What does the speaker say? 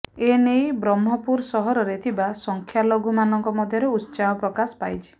ଏନେଇ ବ୍ରହ୍ମପୁର ସହରରେ ଥିବା ସଂଖ୍ୟାଲଘୁମାନଙ୍କ ମଧ୍ୟରେ ଉତ୍ସାହ ପ୍ରକାଶ ପାଇଛି